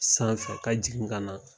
Sanfɛ ka jigin ka na.